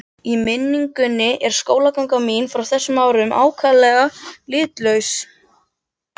Í minningunni er skólaganga mín frá þessum árum ákaflega litlaus.